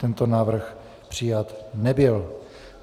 Tento návrh přijat nebyl.